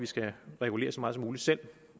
skal regulere så meget som muligt selv